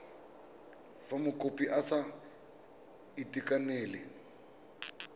fa mokopi a sa itekanela